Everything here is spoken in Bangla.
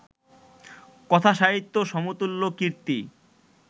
কথাসাহিত্যে সমতুল্য কীর্তি